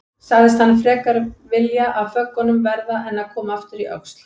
Sagðist hann frekar vilja af föggunum verða en koma aftur í Öxl.